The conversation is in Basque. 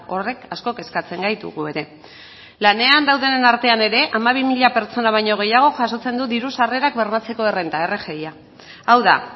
horrek asko kezkatzen gaitu gu ere lanean daudenen artean ere hamabi mila pertsona baino gehiago jasotzen du diru sarrerak bermatzeko errenta rgi hau da